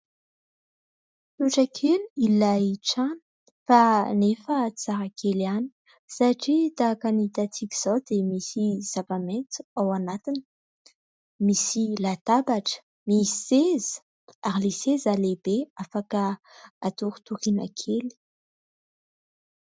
Trotrak'ila ilay trano fa anefa tsara kely ihany satria tahaka ny hitantsika izao dia misy zava-maitso ao anatiny. Misy latabatra, misy seza ary ilay seza lehibe afaka atoritoriana kely.